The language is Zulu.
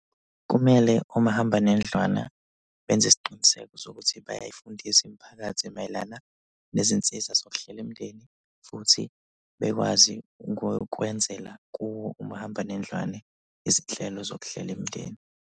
Kumele omahambanendlwana benze isiqiniseko sokuthi bayayifundisa imiphakathi mayelana nezinsiza zokuhlela imndeni futhi bekwazi kwenzela kuwo umahambanendlwane izinhlelo zokuhlela imindeni.